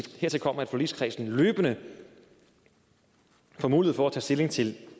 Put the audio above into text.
hertil kommer at forligskredsen løbende får mulighed for at tage stilling til